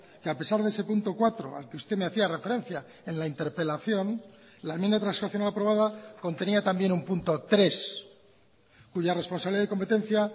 que a pesar de ese punto cuatro al que usted me hacía referencia en la interpelación la enmienda transaccional aprobada contenía también un punto tres cuya responsabilidad y competencia